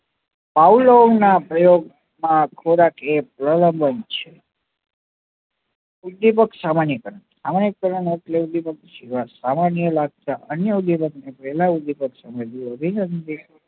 Pavlov નાં પ્રયોગ માં ખોરાક એ પ્રલાબન છે કુળદીપક સામાન્ય કારણ સામાન્ય કારણ એટલે